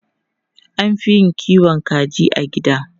An fi yin kiwon kaji a gida.